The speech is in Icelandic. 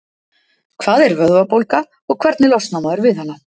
Hvað er vöðvabólga og hvernig losnar maður við hana?